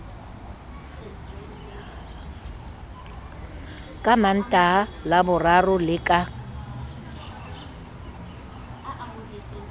ka mantaha laboraro le ka